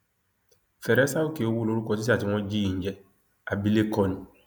algeria fún eni